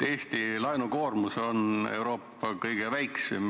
Eesti laenukoormus on Euroopas kõige väiksem.